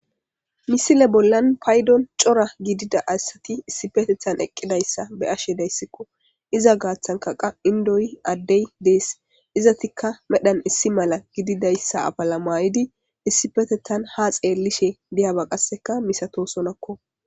misile bollan paydon cora gidida assati issipetethan eqqidayssa be ashe dayssikko iza gaaththankaqa indoyi addey dees izatikka medhan issi mala gididayssa abala maayidi issipetethan ha xeellishe diyaba qasseka misato sonakko